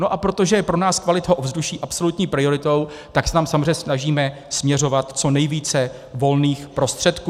No a protože je pro nás kvalita ovzduší absolutní prioritou, tak se tam samozřejmě snažíme směřovat co nejvíce volných prostředků.